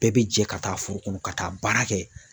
Bɛɛ bi jɛ ka taa foro kɔnɔ ka taa baara kɛ